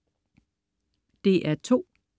DR2: